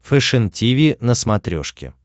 фэшен тиви на смотрешке